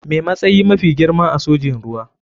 Me matsayi mafi girma a sojin ruwa.